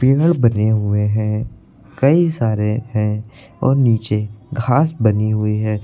बने हुए हैं। कई सारे हैं और नीचे घास बनी हुई है।